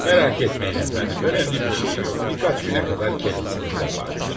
Narahat olmayın, əfəndim, əhəmiyyətli bir şey yoxdur, bir neçə günə qədər özünü yığar.